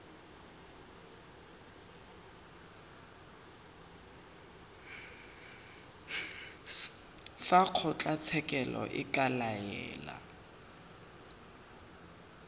fa kgotlatshekelo e ka laela